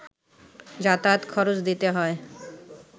যাতায়াত খরচ দিতে হয়